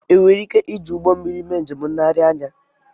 Ènwéré íké iji ụgbọ mmiri mé njém ńléghari ányà